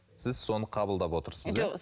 сіз соны қабылдап отырсыз